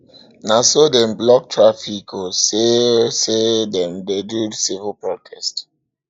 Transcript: na so dem block traffic o sey o sey dem dey do civil protest